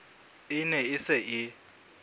e ne e se e